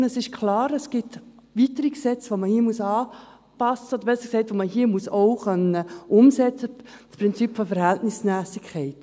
Und es ist klar, es gibt weitere Gesetze, die man hier anpassen muss, besser gesagt, die man hier auch umsetzen können muss – das Prinzip der Verhältnismässigkeit.